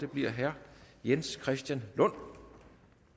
bliver herre jens christian lund